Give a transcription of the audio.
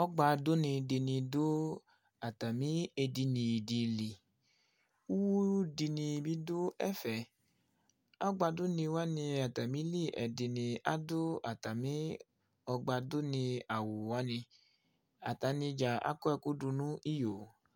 ƆGBA DUNI DINI DU ATAMI ÉDINI DI LI IWU DINI BI DU ƐFƐ ƆGBA DUNI WANI ATAMILI ƐDINI ADU ATAMI ƆGBA DUNI AWU WANI ATANIDZA AKƆ ƐKU DU NI IYO